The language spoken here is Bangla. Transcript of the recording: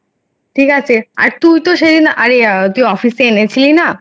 আরে তুই তো সেদিন office থেকে এনেছিলি না